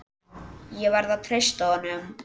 Ég verð að treysta honum.